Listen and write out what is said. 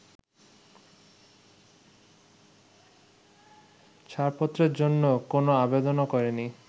ছাড়পত্রের জন্য কোন আবেদনও করেনি।